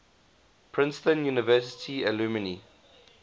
princeton university alumni